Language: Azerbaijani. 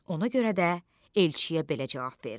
Ona görə də elçiyə belə cavab verdi: